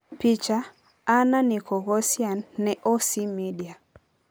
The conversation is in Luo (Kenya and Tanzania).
Picha: Anna Nikoghosyan ne OC Media.